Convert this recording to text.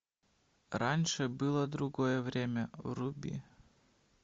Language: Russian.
раньше было другое время вруби